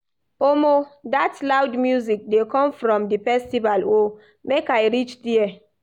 Omo dat loud music dey come from di festival o, make I reach there.